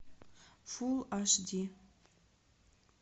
фул аш ди